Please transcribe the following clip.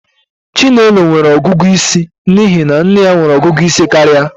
Chinelo nwere ọgụgụ isi n'ihi na nne ya nwere ọgụgụ isi karịa